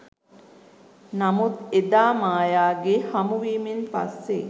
නමුත් එදා මායාගේ හමු වීමෙන් පස්සෙ